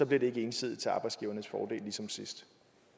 det ikke ensidigt til arbejdsgivernes fordel ligesom sidst